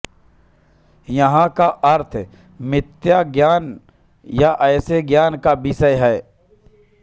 यहाँ का अर्थ मिथ्या ज्ञान या ऐसे ज्ञान का विषय है